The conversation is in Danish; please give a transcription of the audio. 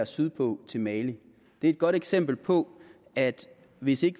sydpå til mali det er et godt eksempel på at hvis vi